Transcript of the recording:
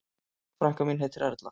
Frænka mín heitir Erla.